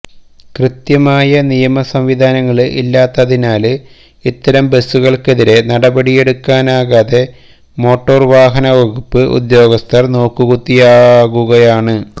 കൃത്യമായ നിയമ സംവിധാനങ്ങള് ഇല്ലാത്തതിനാല് ഇത്തരം ബസുകള്ക്കെതിരെ നടപടിയെടുക്കാനാകാതെ മോട്ടോര് വാഹന വകുപ്പ് ഉദ്യോഗസ്ഥര് നോക്കുകുത്തിയാകുകയാണ്